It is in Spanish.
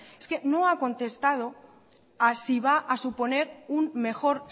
no ha contestado a si va suponer un mejor